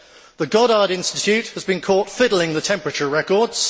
the Goddard Institute has been caught fiddling the temperature records